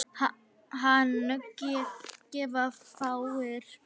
Hana gefa fáir.